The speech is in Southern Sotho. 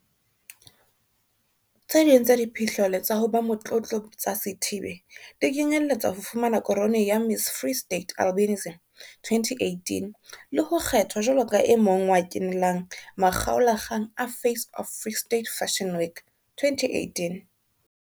Tse ding tsa diphihlello tsa ho ba motlotlo tsa Sithibe di kenyelletsa ho fumana korone ya Miss Free State Albinism 2018 le ho kgethwa jwalo ka e mong wa kenelang makgaola kgang a Face of Free State Fashion Week 2018.